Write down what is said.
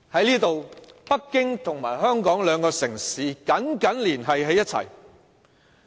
那時，北京和香港兩個城市緊緊連繫起來。